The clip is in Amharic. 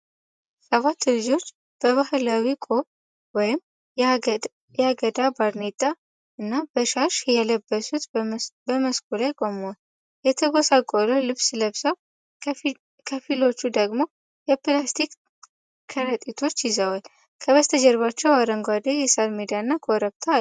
ሰባት ልጆች በባህላዊ ቆብ (የአገዳ ባርኔጣ) እና በሻሽ የለበሱት በመስኩ ላይ ቆመዋል። የተጎሳቆለ ልብስ ለብሰው ከፊሎቹ ደግሞ የፕላስቲክ ከረጢቶች ይዘዋል። ከበስተጀርባቸው አረንጓዴ የሳር ሜዳና ኮረብታ አለ።